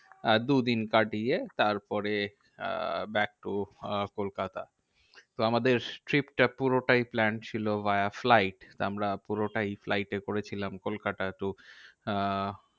আহ দুদিন কাটিয়ে তারপরে আহ back to আহ কলকাতা। তো আমাদের trip টা পুরোটাই plan ছিল via flight. আমরা পুরোটাই flight এ করেছিলাম কলকাতা to আহ